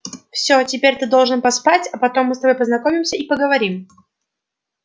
всё теперь ты должен поспать а потом мы с тобой познакомимся и поговорим